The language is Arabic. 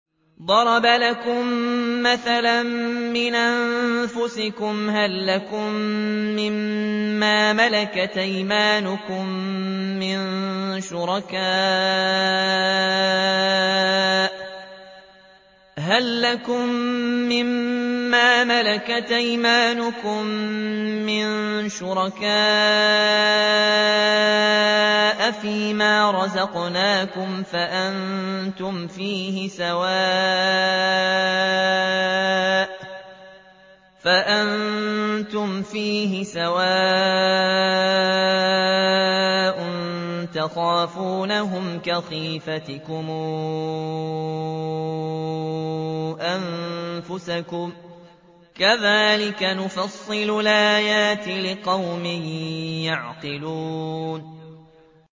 ضَرَبَ لَكُم مَّثَلًا مِّنْ أَنفُسِكُمْ ۖ هَل لَّكُم مِّن مَّا مَلَكَتْ أَيْمَانُكُم مِّن شُرَكَاءَ فِي مَا رَزَقْنَاكُمْ فَأَنتُمْ فِيهِ سَوَاءٌ تَخَافُونَهُمْ كَخِيفَتِكُمْ أَنفُسَكُمْ ۚ كَذَٰلِكَ نُفَصِّلُ الْآيَاتِ لِقَوْمٍ يَعْقِلُونَ